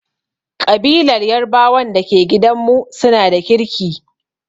Ƙabilar yarbawan da ke gidanmu su na da kirki.